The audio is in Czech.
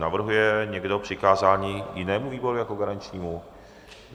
Navrhuje někdo přikázání jinému výboru jako garančnímu?